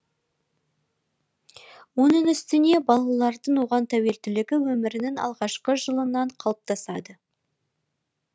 оның үстіне балалардың оған тәуелділігі өмірінің алғашқы жылынан қалыптасады